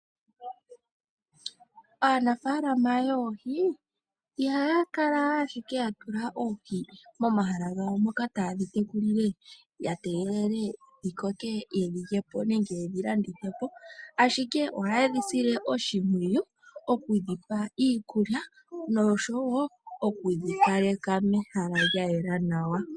Aanafaalama yoohi ihaya kala ashike ya tula oohi momahala gawo moka taye dhi tekulile ya tegele dhi koke nenge ye dhi landithe po, ashike ohaye dhi sile oshimpwiyu oku dhi pa iikulya nosho wo okudhi kaleka mehala lya yela nawa.